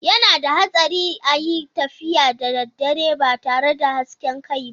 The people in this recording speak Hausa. Yana da hatsari a yi tafiya da dare ba tare da hasken kai ba.